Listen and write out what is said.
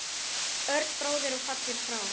Örn bróðir er fallinn frá.